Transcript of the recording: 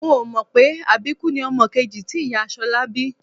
N ò mọ̀ pé àbíkú ni ọmọ kejì tí ìyá Ṣọlá bí